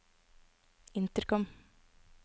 intercom